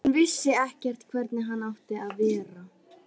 Hann vissi ekkert hvernig hann átti að vera.